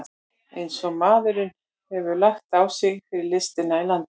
Eins og maðurinn hefur lagt á sig fyrir listina í landinu!